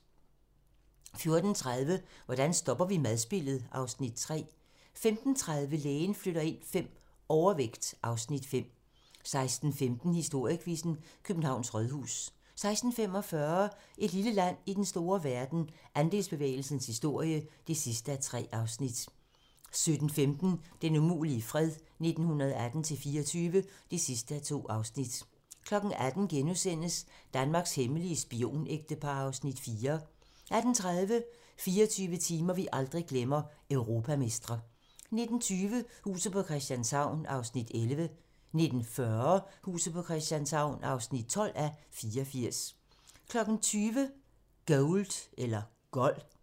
14:30: Hvordan stopper vi madspildet? (Afs. 3) 15:30: Lægen flytter ind V - Overvægt (Afs. 5) 16:15: Historiequizzen: Københavns Rådhus 16:45: Et lille land i den store verden - Andelsbevægelsens historie (3:3) 17:15: Den umulige fred - 1918-24 (2:2) 18:00: Danmarks hemmelige spionægtepar (Afs. 4)* 18:30: 24 timer, vi aldrig glemmer - Europamestre 19:20: Huset på Christianshavn (11:84) 19:40: Huset på Christianshavn (12:84) 20:00: Gold